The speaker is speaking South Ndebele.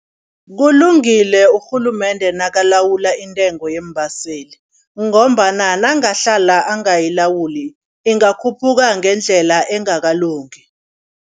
Kulungile urhulumende nakalawula intengo yeembaseli ngombana nangahlala angayilawuli, ingakhuphuka ngendlela engakalungi.